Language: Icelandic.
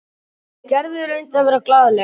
Gerður reyndi að vera glaðleg.